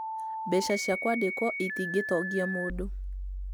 Mbeca cia kwandĩkwo itingĩtongia mũndũ